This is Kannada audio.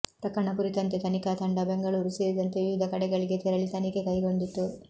ಪ್ರಕರಣ ಕುರಿತಂತೆ ತನಿಖಾ ತಂಡ ಬೆಂಗಳೂರು ಸೇರಿದಂತೆ ವಿವಿಧ ಕಡೆಗಳಿಗೆ ತೆರಳಿ ತನಿಖೆ ಕೈಗೊಂಡಿತ್ತು